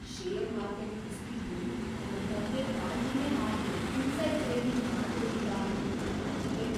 Share market ಕುಸ್ದಿದ್ದು ಅದ್ರ್‌ ಬಗ್ಗೆ ಕಾಳ್ಜಿನೇ ಮಾಡ್ದೇ ಇನ್ಸೈಡ್‌ ಟ್ರೇಡಿಂಗ್ ಮಾಡ್ದೋರಿಂದ ಅನ್ನೋದು ನಾಚಿಕ್ಗೇಡು.